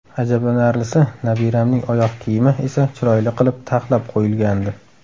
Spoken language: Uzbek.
Ajablanarlisi, nabiramning oyoq kiyimi esa chiroyli qilib, taxlab qo‘yilgandi.